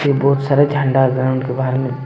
बहुत सारे झंडा ग्राउंड के बाहर में--